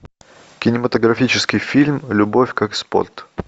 кинематографический фильм любовь как спорт